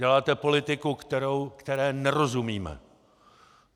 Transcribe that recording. Děláte politiku, které nerozumíme.